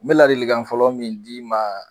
N bɛ ladilikan fɔlɔ min d'i ma